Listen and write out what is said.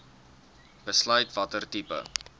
besluit watter tipe